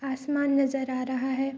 आसमान नज़र आ रहा है।